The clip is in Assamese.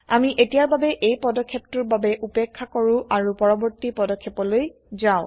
আমি এতিয়াৰ বাবে এই পদক্ষেপটোৰ বাবে উপেক্ষা কৰো আৰু পৰবৰ্তী পদক্ষেপলৈ যাও